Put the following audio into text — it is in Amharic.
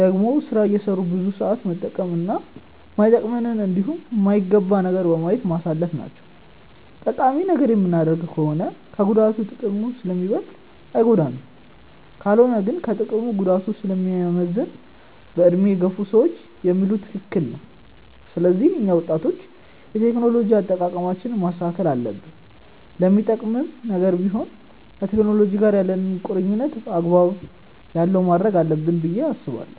ደግሞ ስራ እየሰሩ ብዙ ሰዓት መጠቀም እና ማይጠቅመንንን እንዲሁም የማይረባ ነገርን በማየት ማሳለፍ ናቸው። ጠቃሚ ነገር የምናደርግ ከሆነ ከጉዳቱ ጥቅሙ ስለሚበልጥ አይጎዳንም። ካልሆነ ግን ከጥቅሙ ጉዳቱ ስለሚያመዝን በዕድሜ የገፉ ሰዎች የሚሉት ትክክል ነው። ስለዚህ እኛ ወጣቶች የቴክኖሎጂ አጠቃቀማችንን ማስተካከል አለብን። ለሚጠቅምም ነገር ቢሆን ከቴክኖሎጂ ጋር ያለንን ቁርኝነት አግባብ ያለው ማድረግ አለብን ብዬ አስባለሁ።